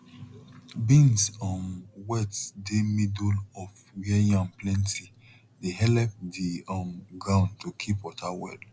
beans um wet dey middle of where yam plenty dey helep the um ground to keep water well